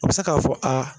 A bɛ se k'a fɔ aa